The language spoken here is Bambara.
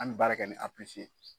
An mɛ baara kɛ ni A ye.